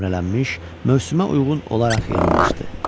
nömrələnmiş, mövsümə uyğun olaraq yığılmışdı.